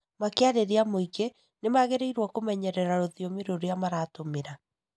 Makĩarĩria mũingĩ, nimagĩrĩirwo nĩkwĩmenyerera rũthiomi rũrĩa maratũmĩra